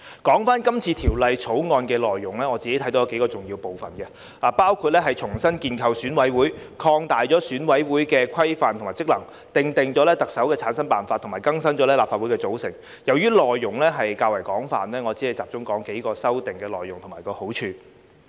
談到這次《條例草案》的內容，我看到有數個重要部分，包括重新建構選委會、擴大選委會規模及職能、訂定特首的產生辦法及更新立法會的組成，由於內容較為廣泛，我只會集中說說數項修訂內容及其好處。